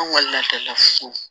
An kɔni ladala so